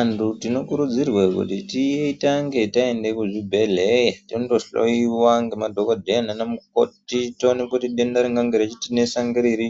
Antu tinokurudzirwe kuti titange taende kuzvibhedhlee tondohloiwa ngemadhokodheya nana mukoti toonekwe kuti denda ringange reitinesa ngeriri